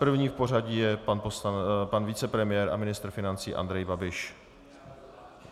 První v pořadí je pan vicepremiér a ministr financí Andrej Babiš.